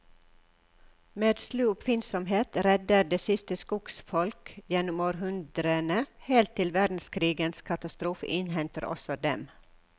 Med slu oppfinnsomhet redder de sitt skogsfolk gjennom århundrene, helt til verdenskrigens katastrofe innhenter også dem.